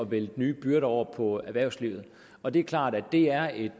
vælte nye byrder over på erhvervslivet og det er klart at det er et